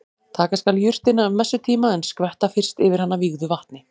Taka skal jurtina um messutíma en skvetta fyrst yfir hana vígðu vatni.